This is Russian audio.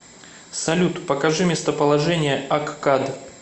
салют покажи местоположение аккад